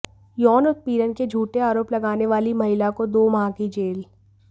यौन उत्पीड़न के झूठे आरोप लगाने वाली महिला को दो माह की जेल